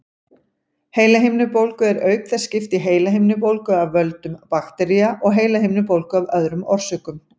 Heilahimnubólgu er auk þess skipt í heilahimnubólgu af völdum baktería og heilahimnubólgu af öðrum orsökum.